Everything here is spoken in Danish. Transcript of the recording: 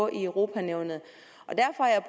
i europa nævnet